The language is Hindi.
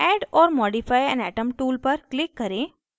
add or modify an atom tool पर click करें